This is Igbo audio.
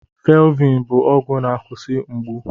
Felviin bụ ọgwụ na-akwụsị mgbu.